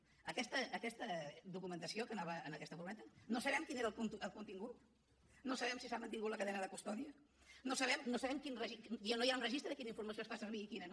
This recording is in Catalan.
d’aquesta documentació que anava en aquesta furgoneta no sabem quin era el contingut no sabem si s’ha mantingut la cadena de custòdia no hi ha un registre de quina informació es fa servir i quina no